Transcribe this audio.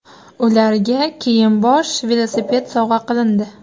Ularga kiyim-bosh, velosiped sovg‘a qilindi.